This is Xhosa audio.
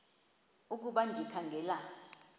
ukuba ndikha ngela